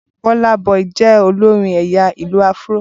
Burna boy jẹ́ olórin ẹ̀yà ìlù-áfúró